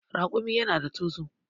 Raƙumi yana da tozo.